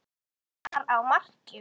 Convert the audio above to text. Halli var í marki.